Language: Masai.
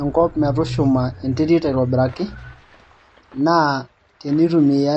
enkop metushuma enterit aitobiraki, naa teneitumia